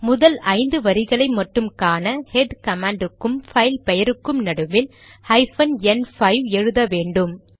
முதல் ஐந்து வரிகளை மட்டும் காண ஹெட் கமாண்ட் க்கும் பைல் பெயருக்கும் நடுவில் ஹைபன் என் 5 எழுத வேண்டும்